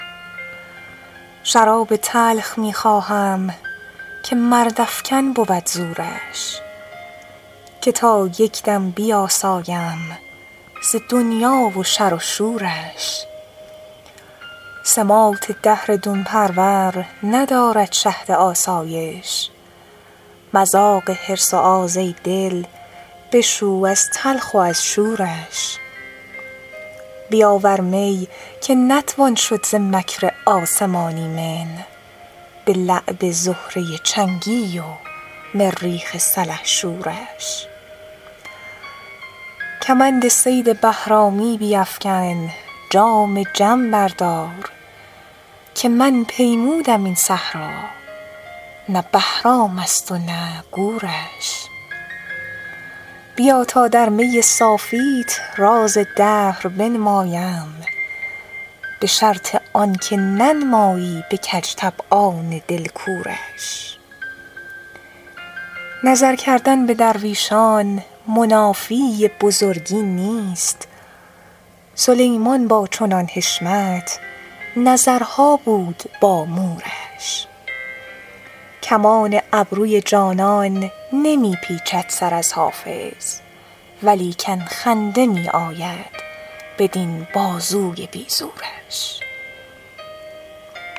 شراب تلخ می خواهم که مردافکن بود زورش که تا یک دم بیاسایم ز دنیا و شر و شورش سماط دهر دون پرور ندارد شهد آسایش مذاق حرص و آز ای دل بشو از تلخ و از شورش بیاور می که نتوان شد ز مکر آسمان ایمن به لعب زهره چنگی و مریخ سلحشورش کمند صید بهرامی بیفکن جام جم بردار که من پیمودم این صحرا نه بهرام است و نه گورش بیا تا در می صافیت راز دهر بنمایم به شرط آن که ننمایی به کج طبعان دل کورش نظر کردن به درویشان منافی بزرگی نیست سلیمان با چنان حشمت نظرها بود با مورش کمان ابروی جانان نمی پیچد سر از حافظ ولیکن خنده می آید بدین بازوی بی زورش